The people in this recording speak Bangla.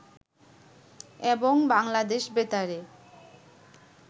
এবং বাংলাদেশ বেতারে